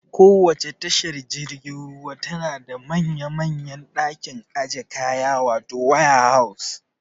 Kowacce tashar jirgin ruwa tana da manya manyan ɗakin ajiye kaya wato waya haus